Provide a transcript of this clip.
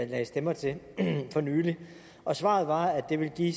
lagde stemmer til for nylig og svaret var at det ville give